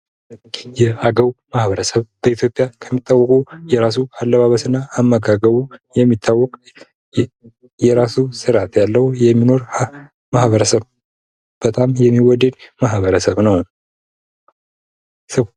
የአገው ማህበረሰብ በኢትዮጵያ ከሚታወቁ የራሱ አለባበስ እና አመጋገብ የሚታወቅ የራሱ ስርዓት ያለው። የሚኖር ማህበረሰብ በጣም የሚወደው ማበረሰብ ነው።